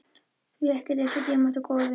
Því ekkert er eins dýrmætt og góðir vinir.